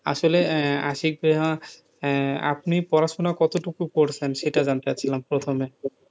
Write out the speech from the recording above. আসলে আশিক ভাইয়া আপনি পড়াশুনা কত টুকু করেছেন, সেটা জানতে চাইছিলাম প্রথমে,